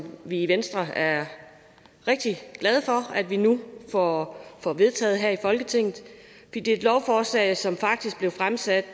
vi i venstre er rigtig glade for at vi nu får får vedtaget her i folketinget det er et lovforslag som faktisk blev fremsat